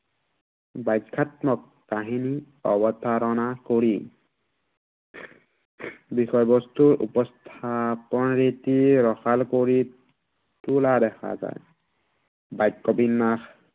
বাখ্য়াত্মক, কাহিনী অৱতাৰণা কৰি বিষয়বস্তুৰ উপস্থাপন ৰীতি ৰসাল কৰি তোলা দেখা যায়। বাক্য়বিন্নাস